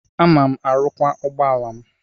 Ana m arụkwa ụgbọala m.